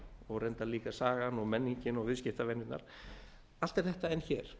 og reyndar líka sagan menningin og viðskiptavenjurnar allt er þetta enn hér